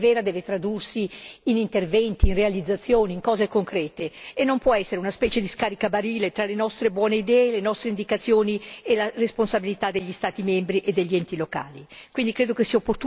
Ma una strategia per essere vera deve tradursi in interventi, in realizzazioni, in cose concrete e non può essere una specie di scaricabarile tra le nostre buone idee, le nostre indicazioni e la responsabilità degli Stati membri e degli enti locali.